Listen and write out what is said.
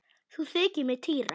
Nú þykir mér týra!